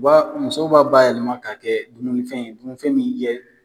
U b'a musow b'a bayɛlɛma ka kɛ dununifɛn ye, dununifɛn min jɛ